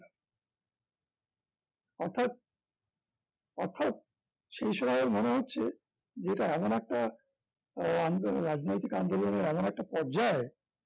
অর্থাৎ অর্থাৎ সেই সময়ে মনে হচ্ছে যে এটা এমন একটা আহ আন্দোলন রাজনৈতিক আন্দোলনের এমন একটা পর্যায়